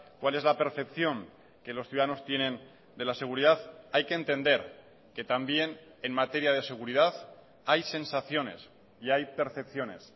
cuál es la percepción que los ciudadanos tienen de la seguridad hay que entender que también en materia de seguridad hay sensaciones y hay percepciones